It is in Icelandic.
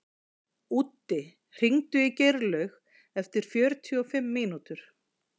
Úddi, hringdu í Geirlaug eftir fjörutíu og fimm mínútur.